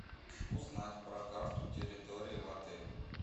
узнать про карту территории в отеле